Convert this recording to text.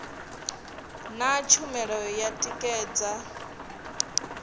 na tshumelo ya u tikedza